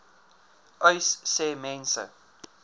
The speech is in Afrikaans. uys sê mense